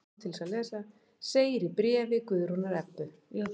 Segir í bréfi Guðrúnar Ebbu.